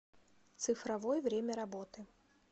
цифровой время работы